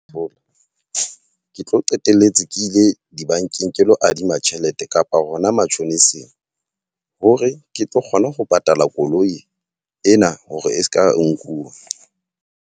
ke tlo qetelletse ke ile dibankeng ke lo adima tjhelete kapa hona matjhoniseng. Hore ke tlo kgona ho patala koloi ena hore e seka nkuwa.